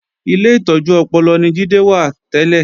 Ilé ìtọ́jú ọpọlọ ni Jídé wà tẹ́lẹ̀